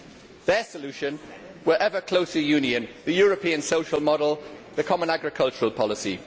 Their solutions were ever closer union, the European social model and the common agricultural policy.